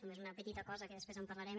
només una petita cosa que després en parlarem